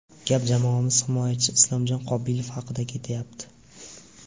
Gap jamoamiz himoyachisi Islomjon Qobilov haqida ketayapti.